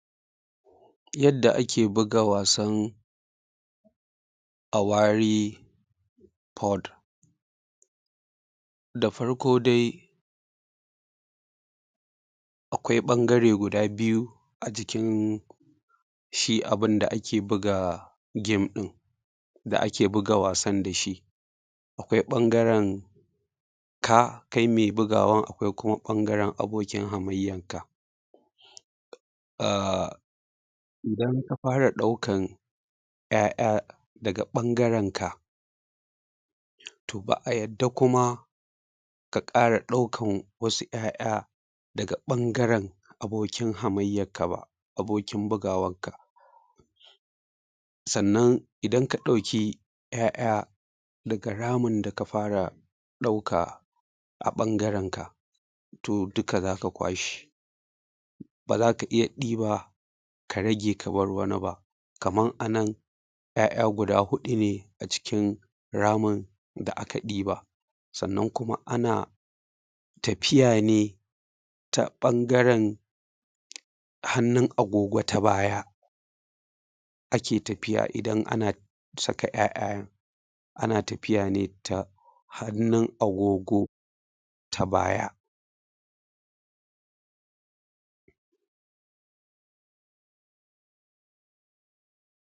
Yadda ake buga wasan. Da farko dai akwai ɓangare guda biyu a jikin shi abun da ake buga game ɗin da ake buga wasan dashi. Akwai ɓangaren ka kai me bugawan akwai kuma ɓangaren abokin hamayyan ka. umm idan ka fara ɗaukan ƴaƴa daga ɓangaren ka, to ba’a yadda kuma ka ƙara ɗaukan wasu ƴaƴa daga ɓangaren abokin hamayyakka ba abokin bugawar ka. Sannan idan ka ɗauki ƴaƴa daga ramin da ka fara ɗauka a ɓangaren ka to duka zaka kwashe bazaka iya ɗiba ka rage ka bar wani ba kaman ana ƴaƴa guda huɗu ne a cikin ramin da aka ɗiba sannan kuma ana tafiya ne ta ɓangaren hannun agogo ta baya ake tafiya idan ana saka ƴaƴayen ana tafiya ne ta hannun agogo ta baya.